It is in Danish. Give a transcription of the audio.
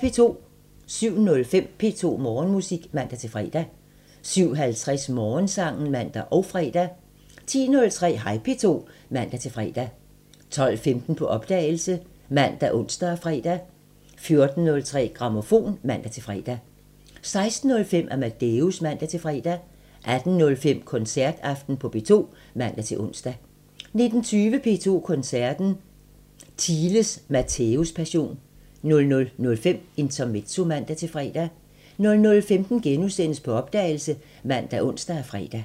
07:05: P2 Morgenmusik (man-fre) 07:50: Morgensangen (man og fre) 10:03: Hej P2 (man-fre) 12:15: På opdagelse ( man, ons, fre) 14:03: Grammofon (man-fre) 16:05: Amadeus (man-fre) 18:05: Koncertaften på P2 (man-ons) 19:20: P2 Koncerten – Theiles Matthæuspassion 00:05: Intermezzo (man-fre) 00:15: På opdagelse *( man, ons, fre)